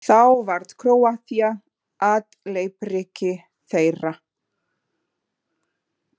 Þá varð Króatía að leppríki þeirra.